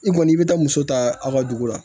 I kɔni i bɛ taa muso ta aw ka dugu la